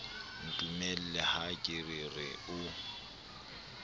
ntumella ha ke re o